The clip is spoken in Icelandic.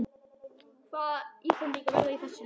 Hvaða íslendingar verða í þessu liði?